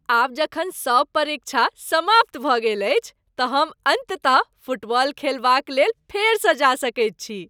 आब जखन सभ परीक्षा समाप्त भऽ गेल अछि त हम अन्ततः फुटबॉल खेलबाक लेल फेरसँ जा सकैत छी।